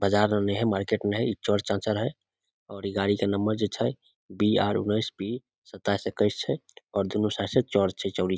बाजार में ने हेय मार्केट में ने हेय इ चौड़ चाचड़ हेय और इ गाड़ी के नंबर जे छै बी आर उनेस बी सताइस इक्कीस छै और दोनों साइड से चौड़ छै चौड़ी --